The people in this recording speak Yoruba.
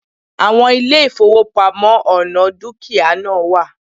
Àwon ilé ìfowópamọ́ oní dúkìá náà wà